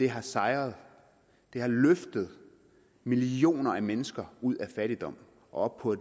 har sejret og har løftet millioner af mennesker ud af fattigdom og op på